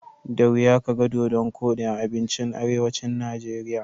Da wuya kaga dodon koɗi a abincin arewacin Najeriya.